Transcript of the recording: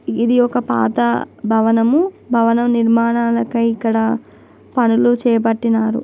ఇధి ఒక పాత భవనం భవన నిర్మాణానికి అయి ఇక్కడ.పన్నులు చేపట్టినారు .